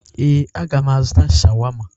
Ee, aga m azụta sháwámá.